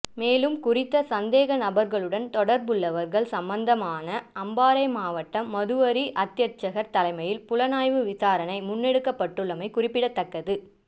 மேலும் குறித்த சந்தேக நபர்களுடன் தொடர்புள்ளவர்கள் சம்பந்தமாக அம்பாறை மாவட்ட மதுவரி அத்தியட்சகர் தலைமையில் புலனாய்வு விசாரணை முன்னெடுக்கப்ட்டுள்ளமை குறிப்பிடத்தக்கது